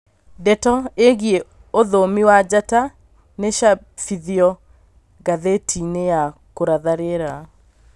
Ndeto ĩgie ũthumi wa njata nicabithĩtio ngathĩti-inĩ ya kũratha rĩera